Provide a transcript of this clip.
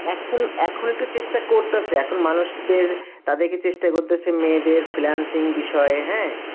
এখন এখন একটু চেষ্টা করতাসে, এখন মানুষদের আমাদেরকে চেষ্টা করতাসে মেয়েদের freelancing বিষয়ে হ্যাঁ